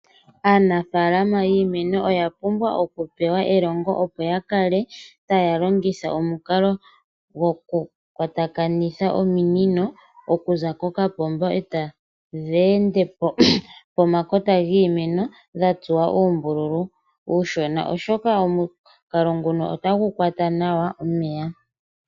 Aanafalama yiimeno oyapumbwa oku pewa elongo opo ya kale ta ya longitha omukalo gwokukwatakanitha ominino okuza kokapomba etadhi ende pomakota giimeno dha tsuwa oombululu uushona oshoka omukalo nguno otagu kwata nawa omeya.